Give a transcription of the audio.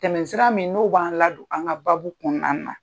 Tɛmɛsira min n'o b'an ladon an ŋa baabu kɔɔna na.